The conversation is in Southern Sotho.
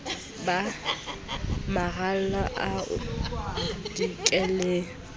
ba maralla a o dikileng